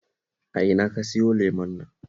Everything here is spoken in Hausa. A ina ka sayo lemon nan?